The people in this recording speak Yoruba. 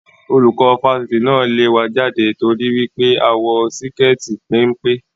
Olùkọ́ Fásitì náà lẹ̀ wá jáde t'ori wípé a wọ síkẹẹti pénpé